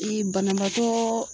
banabaatɔɔ